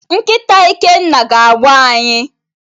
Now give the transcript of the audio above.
Nkịta Ikenna ga-agbọ anyị.